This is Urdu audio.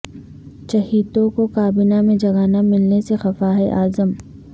چہیتوں کو کابینہ میں جگہ نہ ملنے سے خفا ہیں اعظم